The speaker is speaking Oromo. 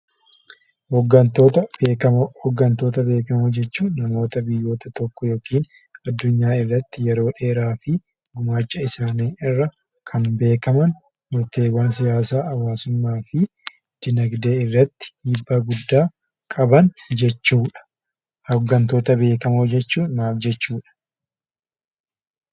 Hooggantoota beekamoo. Hooggantoota beekamoo jechuun namoota biyyoota tokko yokiin addunyaa irratti yeroo dheeraafi gumaacha isaanii irra kan beekaman yoo ta'u hawaasummaa fi diinagdee irratti dhiibbaa guddaa qaban jechuudha. Hooggantoota beekamoo jechuun maal jechuudha?